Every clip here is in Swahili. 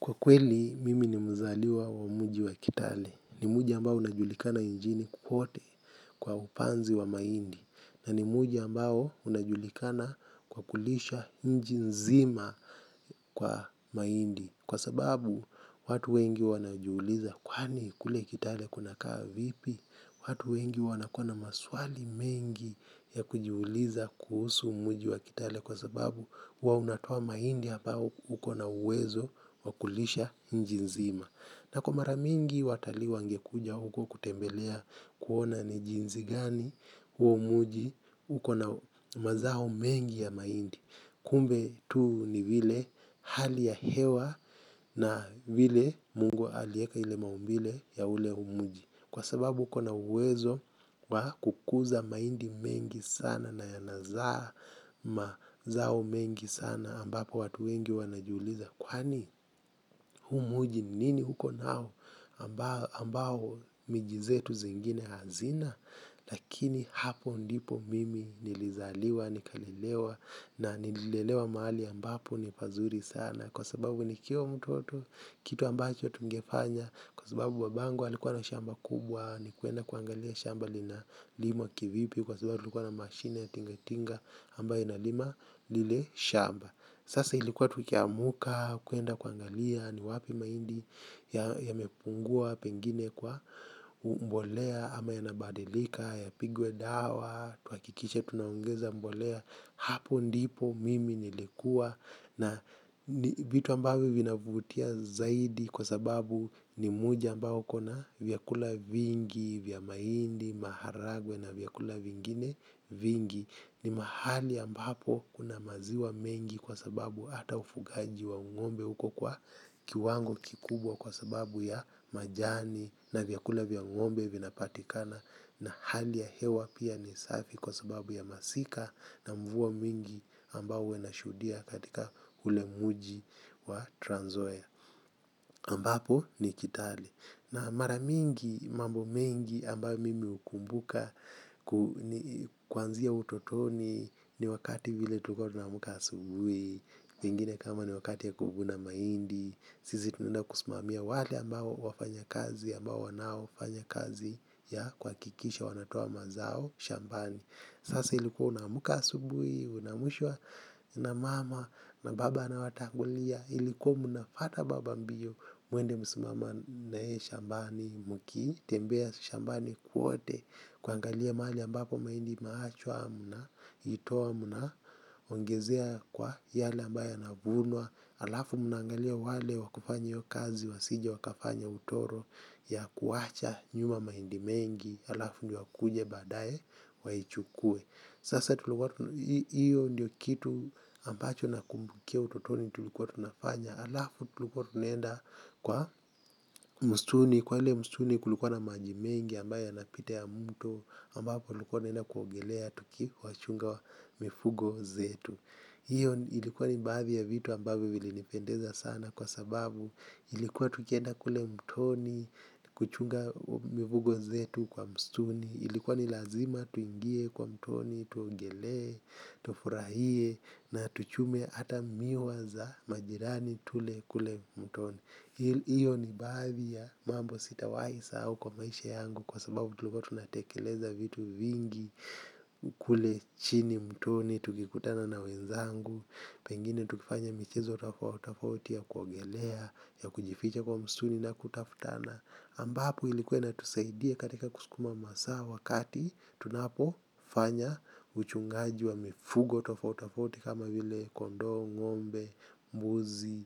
Kwa kweli, mimi ni mzaliwa wa mji wa kitale. Ni mji ambao unajulikana nchini kwote kwa upanzi wa mahindi. Na ni mji ambao unajulikana kwa kulisha nchi nzima kwa mahindi. Kwa sababu watu wengi wanajiuliza kwani kule kitale kunakaa vipi, watu wengi wanakua na maswali mengi ya kujiuliza kuhusu mji wa kitale kwa sababu hua unatoa mahindi hapa ukona uwezo wa kulisha nchi nzima. Na kwa mara mingi watalii wangekuja huko kutembelea kuona ni jinsi gani huo mji uko na mazao mengi ya mahindi. Kumbe tu ni vile hali ya hewa na vile mungu alieka ile maumbile ya ule mji. Kwa sababu uko na uwezo kukuza mahindi mengi sana na yanazaa mazao mengi sana ambapo watu wengi wanajiuliza. Kwani huu mji ni nini uko nao ambao miji zetu zingine hazina. Lakini hapo ndipo mimi nilizaliwa, nikalelewa na nililelewa mahali ambapo ni pazuri sana, kwa sababu nikiwa mtoto kitu ambacho tungefanya kwa sababu babangu alikuwa na shamba kubwa ni kuenda kuangalia shamba linalimwa kivipi kwa sababu tulikuwa na mashine ya tingatinga ambayo inalima lile shamba. Sasa ilikuwa tukiamka kuenda kuangalia ni wapi mahindi yamepungua pengine kwa mbolea ama yanabadilika yapigwe dawa tuhakikishe tunaongeza mbolea. Hapo ndipo mimi nilikuwa. Na ni vitu ambavyo vinavutia zaidi kwa sababu ni mji ambao uko na vyakula vingi, vya mahindi, maharagwe na vyakula vingine vingi. Nii mahali ambapo kuna maziwa mengi kwa sababu ata ufugaji wa ng'ombe huko kwa kiwangu kikubwa kwa sababu ya majani na vyakula vya ng'ombe vinapatikana. Na hali ya hewa pia ni safi kwa sababu ya masika na mvua mingi ambao hua nashuhudia katika ule mji wa Trans Nzoia ambapo ni Kitale. Na mara mingi mambo mengi ambayo mimi hukumbuka kuanzia utotoni ni wakati vile tulikua tunaamka asubuhi pengine kama ni wakati ya kuvuna mahindi, sisi tunaenda kusumamia wale ambao wafanya kazi ambao wanaoafanya kazi ya kuhakikisha wanatoa mazao shambani sasa ilikuwa unaamka asubuhi unaamshwa na mama na baba anawatangulia ilikuwa mnafuata baba mbio mwende msimame na yeye shambani mkitembea shambani kwote kuangalia mahali ambapo mahindi imeachwa mnaitoa mnaongezea kwa yale ambayo yanavunwa alafu mnaangalia wale wakufanya hiyo kazi wasije wakafanya utoro ya kuwacha nyuma mahindi mengi alafu ndio wakuje badae waichukue sasa hiyo ndio kitu ambacho nakumbukia ututoni tulikua tunafanya alafu tulikua tunaenda, kwa msituni, kwa ile msituni kulikua na maji mengi ambayo yanapita ya mto, ambapo tulikua tunaenda kuogelea, tukiwachunga mifugo zetu, hiyo ilikua ni baadhi ya vitu ambavyo vilinipendeza sana kwa sababu illkua tunaenda mtoni, kuchunga mifugo zetu kwa msituni ilikuwa ni lazima tuingie kwa mtoni tuogelee, tofurahie na tuchune hata miwa za majirani tule kule mtoni. Iyo ni baadhi ya mambo sitawaisahau kwa maisha yangu kwa sababu tulikua tunatekeleza vitu vingi. Kule chini mtoni tukikutana na wenzangu. Pengine tukifanya michezo tofauti tofauti ya kuogelea, ya kujificha kwa msituni na kutafutana ambapu ilikua inatusaidia katika kusukuma masaa wakati tunapofanya uchungaji wa mifugo tofauti tafauti kama vile kondoo, ng'ombe, mbuzi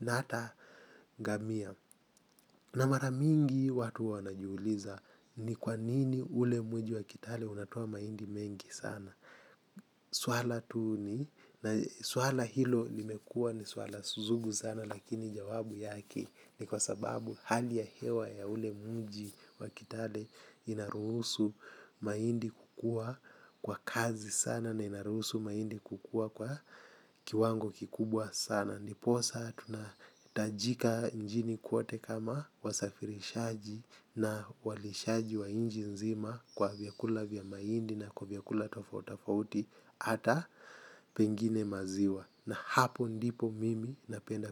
na ata ngamia na mara mingi watu hua wanajiuliza ni kwa nini ule mji wa Kitale unatoa mahindi mengi sana. Swala hilo limekua ni swala sugu sana lakini jawabu yake, ni kwa sababu hali ya hewa ya ule mji wa kitale inaruhusu mahindi kukua kwa kasi sana na inaruhusu mahindi kukua kwa kiwango kikubwa sana. Ndiposa tunatajika nchini kwote kama wasafirishaji na walishaji wa nchi nzima kwa vyakula vya mahindi na kwa vyakula tofauti tofauti ata pengine maziwa. Na hapo ndipo mimi napenda.